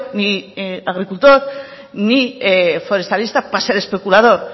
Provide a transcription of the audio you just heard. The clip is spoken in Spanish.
ni agricultor ni forestalista para ser especulador